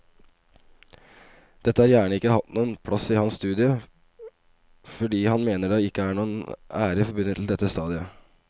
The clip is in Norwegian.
Dette har gjerne ikke hatt noen plass i hans studie fordi han mener det ikke er noen ære forbundet til dette stadiet.